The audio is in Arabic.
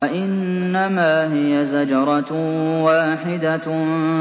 فَإِنَّمَا هِيَ زَجْرَةٌ وَاحِدَةٌ